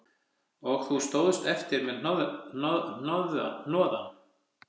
Og þú stóðst eftir með hnoðann